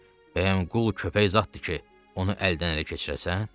Deyərdim, bəyəm qul, köpək zadtdır ki, onu əldən-ələ keçirəsən?